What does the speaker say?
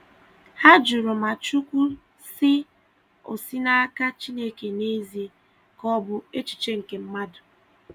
Ha jụrụ ma "Chukwu sị" o si n'aka Chineke n'ezie, ka ọ bụ echiche nke mmadụ.